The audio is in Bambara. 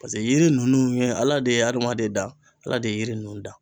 Paseke yiri nunnu ye Ala de ye adamaden dan Ala de ye yiri nunnu da.